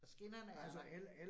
Og skinnerne er der